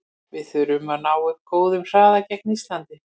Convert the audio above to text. Við þurfum að ná upp góðum hraða gegn Íslandi.